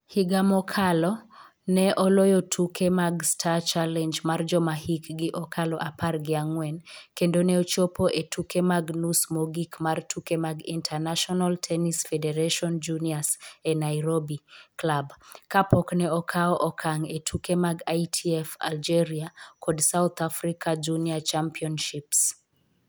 Higa mokalo, ne oloyo tuke mag Star Challenge mar joma hikgi okalo apar gi ang'wen kendo ne ochopo e tuke mag nus mogik mar tuke mag International Tennis Federation Juniors e Nairobi Club kapok ne okawo okang' e tuke mag ITF Algeria kod South Africa Junior championships.